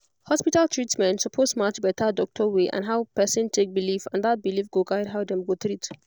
hospital treatment suppose match better doctor way and how person take believe and that belief go guide how dem go treat